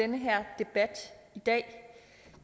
den her debat i dag